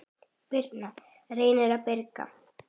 Birna, Reynir og Birgir.